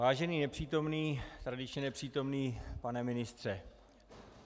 Vážený nepřítomný - tradičně nepřítomný - pane ministře.